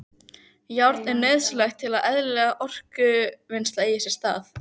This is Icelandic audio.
Járn er nauðsynlegt til að eðlilegt orkuvinnsla eigi sér stað.